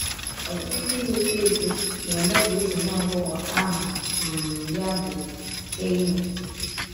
Ọtụtụ ndị na - etọ etọ na - eme ka ọtụ nwa agbọghọ aha um ya bụ Hailey.